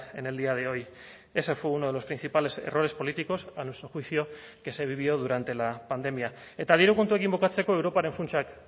en el día de hoy ese fue uno de los principales errores políticos a nuestro juicio que se vivió durante la pandemia eta diru kontuekin bukatzeko europaren funtsak